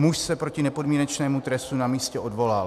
Muž se proti nepodmínečnému trestu na místě odvolal."